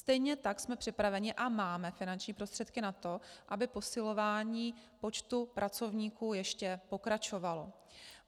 Stejně tak jsme připraveni a máme finanční prostředky na to, aby posilování počtu pracovníků ještě pokračovalo.